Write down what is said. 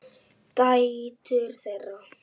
Dætur þeirra